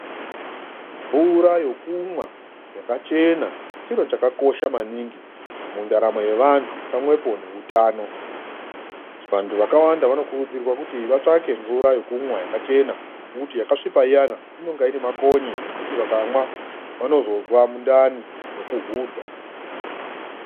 Mvura yokumwa yakachena chiro chakakosha maningi mundaramo yevanthu pamwepo neutano vanthu vakawanda vanokurudzirwa kuti vatsvake mvura yekumwa yakachena ngekuti yakasvipa iyani inenge ine makonye zvekuti vakamwa vanozozwa mundani nekuhudha .